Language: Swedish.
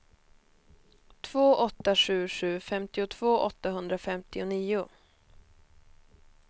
två åtta sju sju femtiotvå åttahundrafemtionio